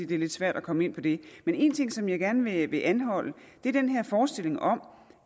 det er lidt svært at komme ind på det men en ting som jeg gerne vil anholde er den her forestilling om